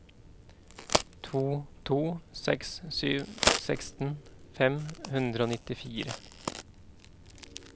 to to seks sju seksten fem hundre og nittifire